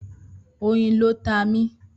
Oyin ló ta mí.